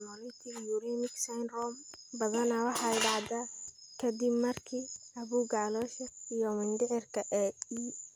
Hemolytic uremic syndrome badanaa waxay dhacdaa ka dib markii caabuqa caloosha iyo mindhicirka ee E.